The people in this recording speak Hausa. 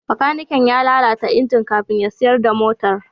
Bakaniken ya lalata injin kafin ya siyar da motar.